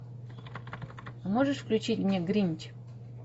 можешь включить мне гринч